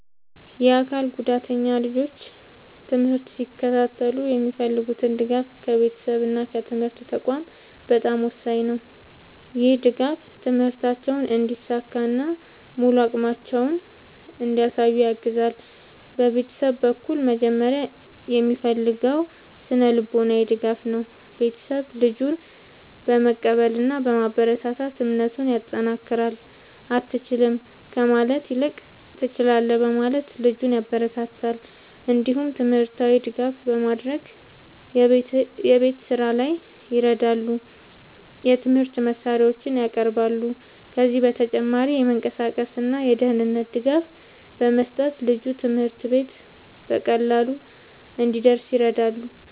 የአካል ጉዳተኛ ልጆች ትምህርት ሲከታተሉ የሚፈልጉት ድጋፍ ከቤተሰብ እና ከትምህርት ተቋማት በጣም ወሳኝ ነው። ይህ ድጋፍ ትምህርታቸውን እንዲሳካ እና ሙሉ አቅማቸውን እንዲያሳዩ ያግዛል። ቤተሰብ በኩል መጀመሪያ የሚፈለገው ስነ-ልቦናዊ ድጋፍ ነው። ቤተሰብ ልጁን በመቀበል እና በማበረታታት እምነቱን ያጠናክራል። “አትችልም” ከማለት ይልቅ “ትችላለህ” በማለት ልጁን ያበረታታል። እንዲሁም ትምህርታዊ ድጋፍ በማድረግ የቤት ስራ ላይ ይረዳሉ፣ የትምህርት መሳሪያዎችንም ያቀርባሉ። ከዚህ በተጨማሪ የመንቀሳቀስ እና የደህንነት ድጋፍ በመስጠት ልጁ ትምህርት ቤት በቀላሉ እንዲደርስ ይረዳሉ።